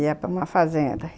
Ia para uma fazenda.